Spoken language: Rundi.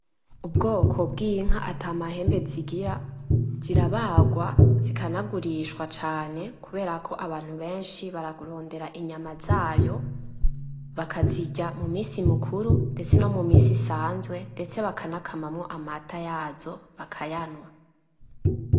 Ubwoko bw'inka atamahembe zigira ,zirabarwa, zikanagurishwa cane kuberako abantu benshi bararondera inyama zayo bakazirya mumisi mukuru nomuminsi isanzwe ndetse bakanakamwo amata yazo bakayanywa.